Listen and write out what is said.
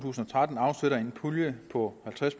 tusind og tretten afsætter en pulje på halvtreds